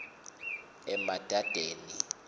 emadadeni